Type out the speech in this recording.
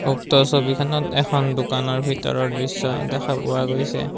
উক্ত ছবিখনত এখন দোকানৰ ভিতৰৰ দৃশ্য দেখা পোৱা গৈছে।